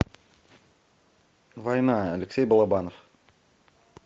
война алексей балабанов